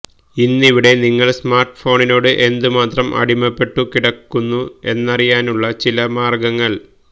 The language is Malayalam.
ഇന്നിവിടെ നിങ്ങള് സ്മാര്ട്ട്ഫോണിനോട് എന്തുമാത്രം അടിമപ്പെട്ടു കിടക്കുന്നു എന്നറിയാനുള്ള ചില മാര്ഗ്ഗങ്ങള്